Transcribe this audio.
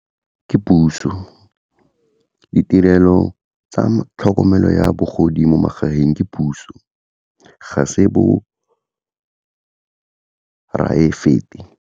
Ke puso, ditirelo tsa tlhokomelo ya bagodi mo magaeng ke puso, ga se bo private-e.